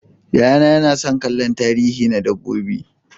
Yayana yana son kallon tarihi na dabbobi.